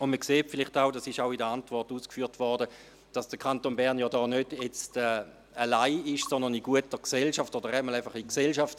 Man sieht vielleicht auch – dies wurde ebenfalls in der Antwort ausgeführt –, dass der Kanton Bern da nicht alleine ist, sondern in guter Gesellschaft, oder zumindest in Gesellschaft.